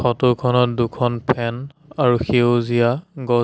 ফটোখনত দুখন ফেন আৰু সেউজীয়া গ--